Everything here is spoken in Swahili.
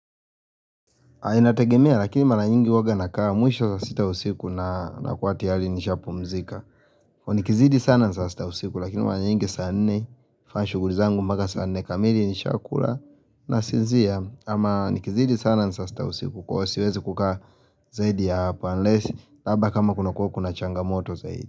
Inategemea lakini mara nyingi huwaga nakaa mwisho saa sita usiku na nakuwa tiyari nishaa pumzika. Nikizidi sana saa sita usiku lakini mara nyingi saa nne fanya shuguli zangu mpaka saa nne kamili nishaakula na sinzia ama nikizidi sana saa sita ya usiku kuwa siwezi kukaa zaidi ya hapa unless saba kama kuna kuwa kuna changa moto zaidi.